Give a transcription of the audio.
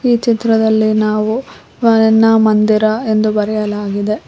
ಈ ಚಿತ್ರದಲ್ಲಿ ನಾವು ಮಂದಿರ ಎಂದು ಬರೆಯಲಾಗಿದೆ.